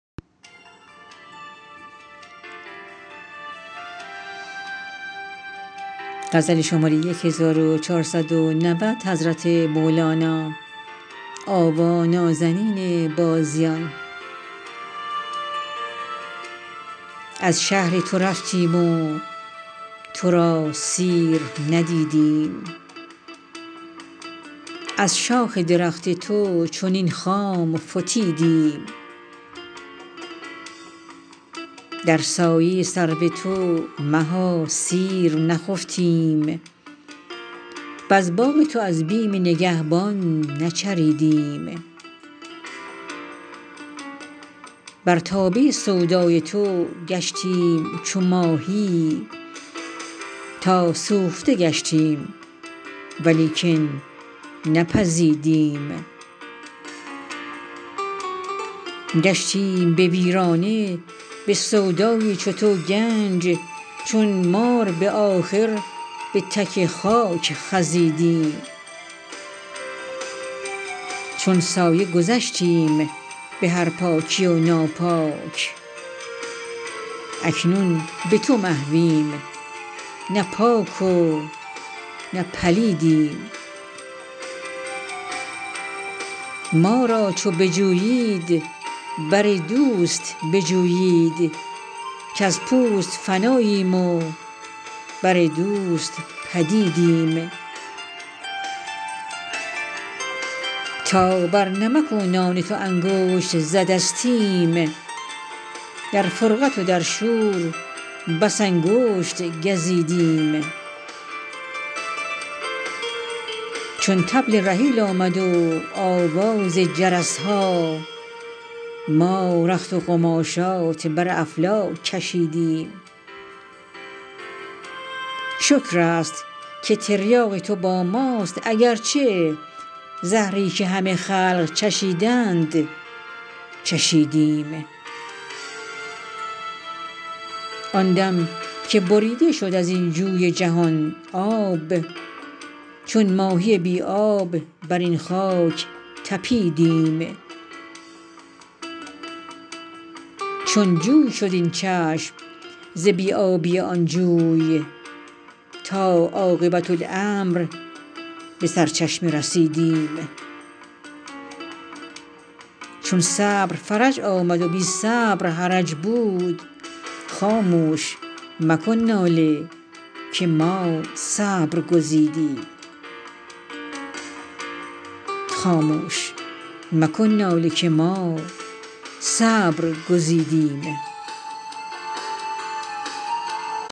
از شهر تو رفتیم تو را سیر ندیدیم از شاخ درخت تو چنین خام فتیدیم در سایه سرو تو مها سیر نخفتیم وز باغ تو از بیم نگهبان نچریدیم بر تابه سودای تو گشتیم چو ماهی تا سوخته گشتیم ولیکن نپزیدیم گشتیم به ویرانه به سودای چو تو گنج چون مار به آخر به تک خاک خزیدیم چون سایه گذشتیم به هر پاکی و ناپاک اکنون به تو محویم نه پاک و نه پلیدیم ما را چو بجویید بر دوست بجویید کز پوست فناییم و بر دوست پدیدیم تا بر نمک و نان تو انگشت زدستیم در فرقت و در شور بس انگشت گزیدیم چون طبل رحیل آمد و آواز جرس ها ما رخت و قماشات بر افلاک کشیدیم شکر است که تریاق تو با ماست اگر چه زهری که همه خلق چشیدند چشیدیم آن دم که بریده شد از این جوی جهان آب چون ماهی بی آب بر این خاک طپیدیم چون جوی شد این چشم ز بی آبی آن جوی تا عاقبت امر به سرچشمه رسیدیم چون صبر فرج آمد و بی صبر حرج بود خاموش مکن ناله که ما صبر گزیدیم